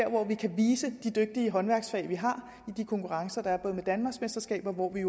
hvor vi kan vise de dygtige håndværksfag vi har i de konkurrencer der er danmarksmesterskaber hvor vi